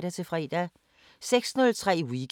DR P4 Fælles